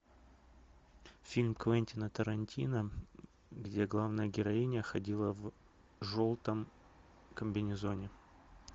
фильм квентина тарантино где главная героиня ходила в желтом комбинезоне